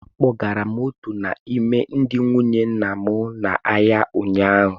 Akpọgara m otu n’ime ndị nwunye nna m n'ahịa ụnyaahụ.